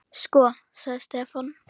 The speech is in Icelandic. Sko. sagði Stefán.